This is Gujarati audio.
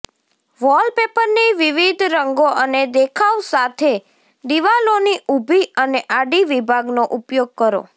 વોલપેપરની વિવિધ રંગો અને દેખાવ સાથે દિવાલોની ઊભી અને આડી વિભાગનો ઉપયોગ કરો